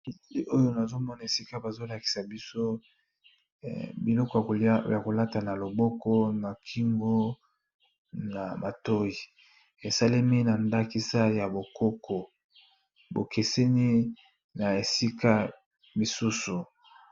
ekili oyo nazomona esika bazolakisa biso biloko ya kolata na loboko na kingo na matoi esalemi na ndakisa ya bokoko bokeseni na esika misusu